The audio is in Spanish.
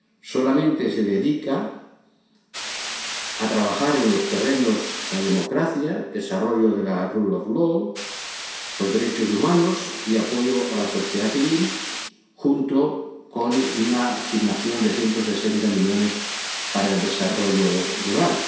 solamente se dedica a trabajar en los terrenos de la democracia, el desarrollo del Estado de Derecho, los derechos humanos y el apoyo a la sociedad civil, junto con una asignación de 160 millones para el desarrollo rural...